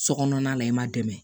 Sokɔnɔna la i ma dɛmɛ